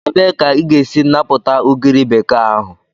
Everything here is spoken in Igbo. Ebee ka ị ga-esi napụta ugiri bekee ahụ?